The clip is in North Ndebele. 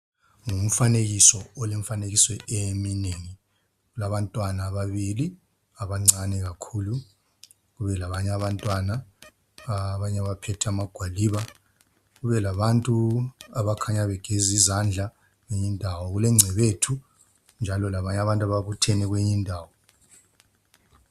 Ngumfanekiso olemifanekiso eminengi. kulabantwana ababili abancane kakhulu kube labanye abantwana abanye abaphethe amagwaliba kube labantu abakhanya bageza izandla kwenyindawo kulengcebethu labanye abantu ababuthene kwenyi ndawo.